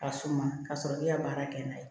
Ka suma ka sɔrɔ k'i ka baara kɛ n'a ye